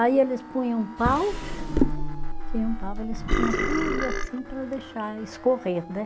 Aí eles punha um pau. Uhum. Tinha um pau, eles punha tudo assim para deixar escorrer, né?